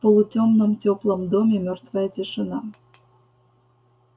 в полутемном теплом доме мёртвая тишина